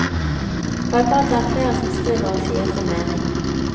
Håper at det er flere som skriver å sier sin mening.